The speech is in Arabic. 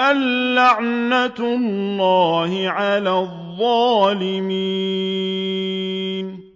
أَن لَّعْنَةُ اللَّهِ عَلَى الظَّالِمِينَ